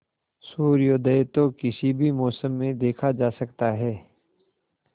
सूर्योदय तो किसी भी मौसम में देखा जा सकता है